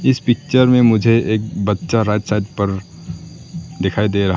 इस पिक्चर में मुझे एक बच्चा राइट साइड पर दिखाई दे रहा --